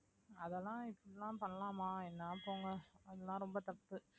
அதெல்லாம் இப்படி எல்லாம் பண்ணலாமா என்னா போங்க அதெல்லாம் ரொம்ப தப்பு